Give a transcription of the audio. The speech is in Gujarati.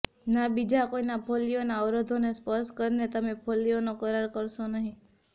ના બીજા કોઈના ફોલ્લીઓના અવરોધોને સ્પર્શ કરીને તમે ફોલ્લીઓનો કરાર કરશો નહીં